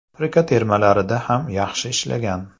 Afrika termalarida ham yaxshi ishlagan.